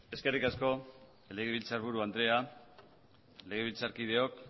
eskerrik asko legebiltzarburu andrea legebiltzarkideok